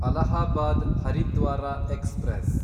Allahabad Haridwar express